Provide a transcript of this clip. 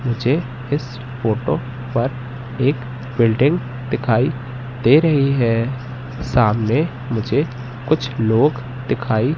मुझे इस फोटो पर एक बिल्डिंग दिखाई दे रही है सामने मुझे कुछ लोग दिखाई--